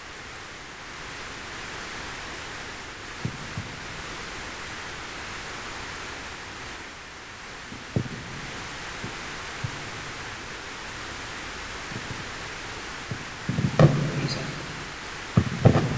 Kun alaabaa biyya bakka bu'uudha. Alaabaan kun halluuwwan magariisa, cuquliisaa fi adii irraa kan hojjetameedha. Karaa bitaatiin mallattoo urjii qaba. Mallattoon urjii kun halluu adii kan qabu yoo ta'u, halluun duubaa isaa immoo cuquliisadha.